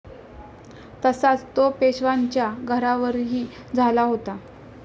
तसाच तो पेशव्यांच्या घरावरही झाला होता.